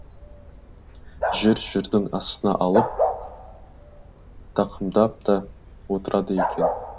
жүр жүрдің астына алып тақымдап та отырады екен